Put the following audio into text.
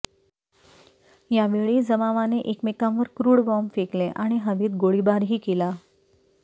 या वेळी जमावाने एकमेकांवर क्रूड बॉम्ब फेकले आणि हवेत गोळीबारही केला